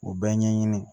O bɛɛ ɲɛɲini